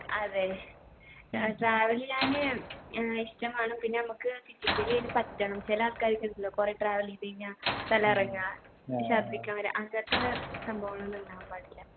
അതെ air travel ചെയ്യാന് ഏർ ഇഷ്ടം വേണം പിന്നെ നമ്മക്ക് physically അയിന് പറ്റണം ചില ആൾക്കാര്ക്കുണ്ടല്ലോ കൊറേ travel എയ്തു കഴിഞ്ഞാ തല കറങ്ങ ഛർദിക്കാൻ വര അങ്ങത്തെ സംഭവങ്ങളൊന്നും ഉണ്ടാകാൻ പാടില്ല